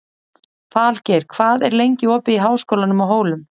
Falgeir, hvað er lengi opið í Háskólanum á Hólum?